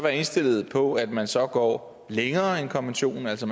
indstillet på at man så går længere end konventionen altså